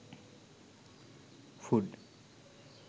food